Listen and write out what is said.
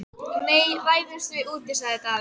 Nei, ræðumst við úti, sagði Daði.